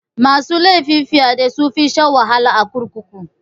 Masu laifin fyaɗe sunfi shan wahala a kurkuku.